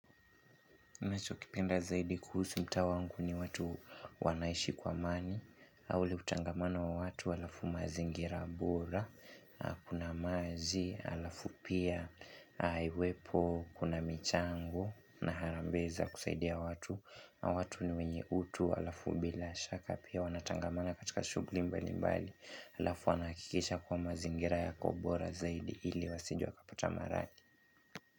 Ninacho kipenda zaidi kuhusu mtaa wangu ni watu wanaishi kwa amani au ule utangamano wa watu alafu mazingira bora Kuna maji, alafu pia iwepo, kuna michango na harambe za kusaidia watu watu ni wenye utu, alafu bila shaka Pia wanatangamana katika shughuli mbali mbali Alafu wanakikisha kwa mazingira yako bora zaidi ili wasije wakapata maradhi.